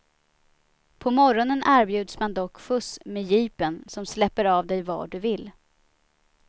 På morgonen erbjuds man dock skjuts med jeepen, som släpper av dig var du vill.